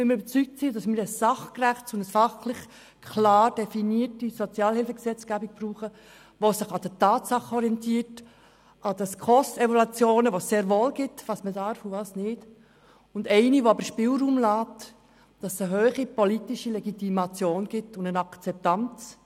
Wir sind nämlich überzeugt, dass wir eine sachgerechte und fachlich klar definierte Sozialhilfegesetzgebung brauchen, die sich an den Tatsachen orientiert, an den SKOS-Evaluationen, die es sehr wohl gibt und die zeigen, was man darf und was nicht, aber auch eine Sozialhilfegesetzgebung, die Spielraum lässt, damit es eine hohe politische Legitimation und Akzeptanz gibt.